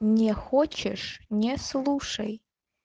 не хочешь не слушай